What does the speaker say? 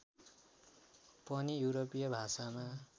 पनि युरोपीय भाषामा